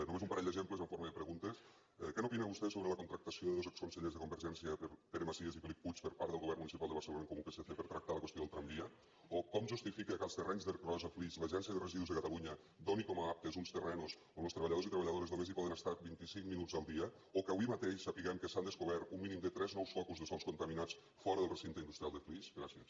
només un parell d’exemples en forma de preguntes què n’opina vostè sobre la contractació de dos exconsellers de convergència pere macias i felip puig per part del govern municipal de barcelona en comú psc per tractar la qüestió del tramvia o com justifica que als terrenys d’ercros a flix l’agència de residus de catalunya doni com a aptes uns terrenys on els treballadors i les treballadores només hi poden estar vint i cinc minuts al dia o que avui mateix sapiguem que s’han descobert un mínim de tres nous focus de sòls contaminats fora del recinte industrial de flix gràcies